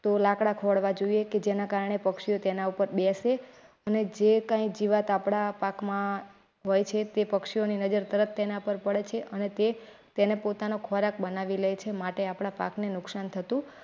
તો લાકડા ખોળવા જોઈએ કે જેના કારણે પક્ષીઓ તેના ઉપર બેસે અને જે કઈ અને જીવાત આપડા પાક માં છે તે પક્ષીઓની નજર તેના પર પડે છે અને તે તેને પોતાનો ખોરાક બનાવી લે છે. માટે આપણા પાકને નુકસાન થતુ.